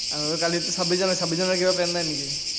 আৰু কালিটো ছাব্বিশ জানুৱাৰী, ছাব্বিশ জানুৱাৰীৰ কিবা plan নাই নেকি?